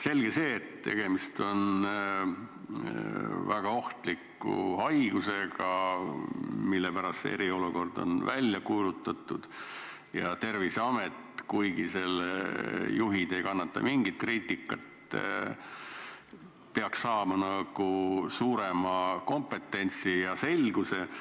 Selge see, et tegemist on väga ohtliku haigusega, mille pärast see eriolukord on välja kuulutatud, ja Terviseamet – kuigi selle juhid ei kannata mingit kriitikat – peaks saama suurema kompetentsi ja õigusselguse.